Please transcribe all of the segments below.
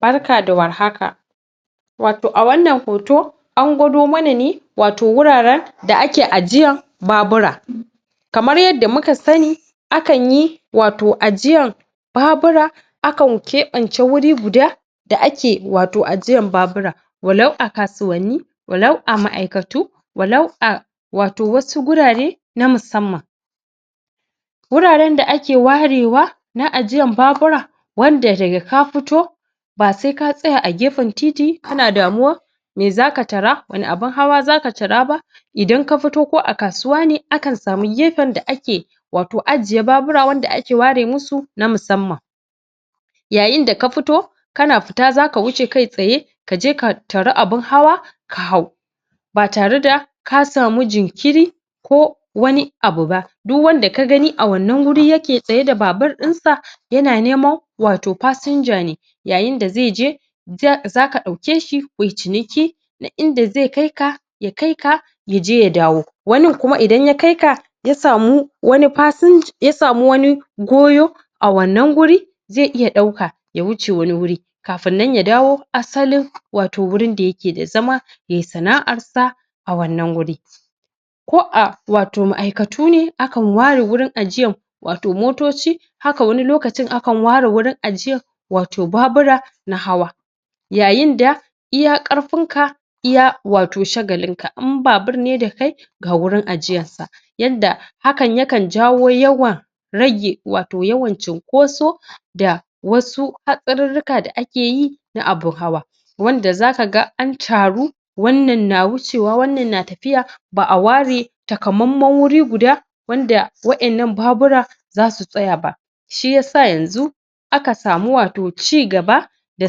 barka da war haka wato a wannan hoto an gwado mana ne wato wuraren da ake a jiyan babura kamar yadda muka sani akan yi wato jiyan babura akan keban ce guri guda da ake wato ajiyan babura wa lau a kasuwanni wa lau a ma aiktu wa lau a wato wasu gurare na musamman guraren da ake ware na ajiyan babura wa ajiya wanda daga ka fito ba sai ka tsaya a gefen titi kana damuwa mai zaka tara wani abun hawa zaka tata idan ka fito ko a kasuwa ne akan samu gefen da ake wato ajiye babura wanda ake ware musu na musamman yayin da ka fito kana futa zaka wuce kai tsaye kaje ka tara abun hawa ka hau ba tare da ka samu jinkiri ko wani abu ba duk wanda ka gani a wannan gurin yake tsaye da babur din sa yana neman wato passenger ne yayin da zai je... zaka dauke shi kuyi ciniki duk inda zai kai ka ya kaika ya je ya dawo wanin kuma idan ya kaika yasamu wani goyo a wannan guri zai iya dauka ya wuce wani guri kafin nan ya dawo asalin wato wurin da yake da zama yay sana'ar sa a wannan wuri ko a wato ma'aikatu ne akan ware waurin ajiyan wato motoci haka wani lokacin akan ware wurin ajiyan wato babura na hawa yayin da iya karfin ka iya wato shagalin ka in babur ne da kai ga wurin ajiyan sa yadda hakan yakan jawo yawan rage wato yawan cinkoso da wasu hakarirri a da ake yi na abun hawa wanda zaka ga an taru wannan na wuce wa wannan na tafiya ba'a ware takamaman guri guda wanda wa 'yan nan babura zasu tsaya ba shiyasa yanzu aka samu wato cigaba da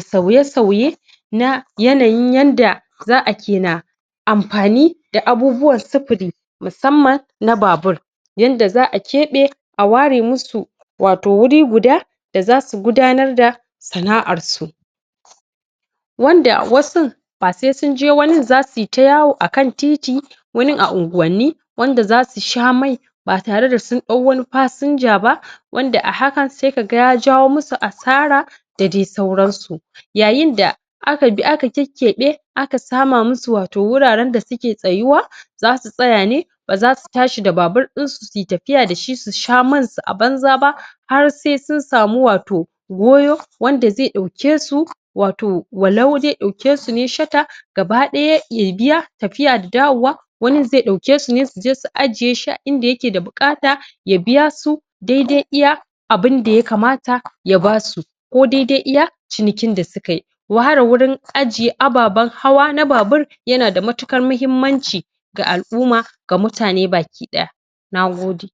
sauye sauye na yanayin yanda za'a ana kena amfani da abubuwan sufuri musamman na babur yanda za'a kebe a ware musu wato guri guda da zasu gudanar da sana'r su wanda wasun ba sai sun je wanin zasu yi ta yawo akan titi wani a anguwanni zasu sha mai ba tare da sun dau wani passenger ba wanda a hakan sai kaga ya jawo musu asara da dai sauran su yayin da aka bi aka kekkebe aka sama musu wato wuraren da suke tsayuw zasu tsaya ba zasu tashi da babur in su suyi tafiya dashi su sha man su a banza ba har sai sun samu wato goyo wanda zai dauke su wato wa lau zai dauke ne shata gaba daya ya biya tafiya da dawo wa wani zai dauke su ne su je su ajiye shi a inda yake da bukata ya biya su dai dai iya abunda ya kamata ya basu kodai dai iya cinikin da suka yi ware wurin ajiye ababan hawa na babur yanada matikar mahimmanci ga al'uma ga mutane baki daya nagode